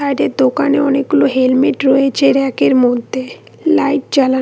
এদের দোকানে অনেকগুলো হেলমেট রয়েছে রেক -এর মধ্যে লাইট জ্বালান--